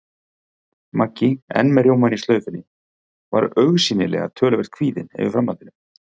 Maggi, enn með rjómann í slaufunni, var augsýnilega töluvert kvíðinn yfir framhaldinu.